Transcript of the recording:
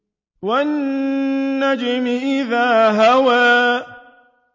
وَالنَّجْمِ إِذَا هَوَىٰ